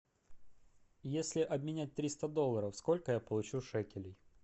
если обменять триста долларов сколько я получу шекелей